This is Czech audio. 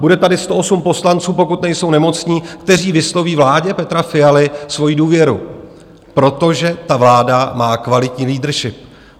Bude tady 108 poslanců, pokud nejsou nemocní, kteří vysloví vládě Petra Fialy svoji důvěru, protože ta vláda má kvalitní leadership.